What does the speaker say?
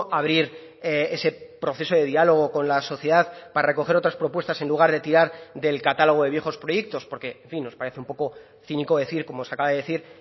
abrir ese proceso de diálogo con la sociedad para recoger otras propuestas en lugar de tirar del catálogo de viejos proyectos porque en fin nos parece un poco cínico decir cómo se acaba de decir